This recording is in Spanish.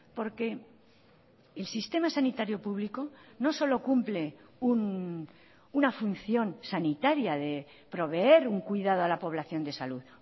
porque el sistema sanitario público no solo cumple una función sanitaria de proveer un cuidado a la población de salud